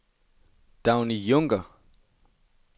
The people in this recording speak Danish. Dagny Junker